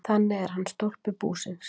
Þannig er hann stólpi búsins.